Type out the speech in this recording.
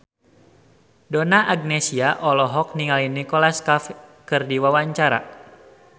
Donna Agnesia olohok ningali Nicholas Cafe keur diwawancara